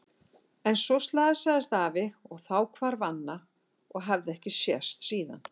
En svo slasaðist afi og þá hvarf Anna og hafði ekki sést síðan.